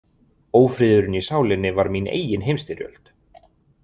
Ófriðurinn í sálinni var mín eigin heimsstyrjöld.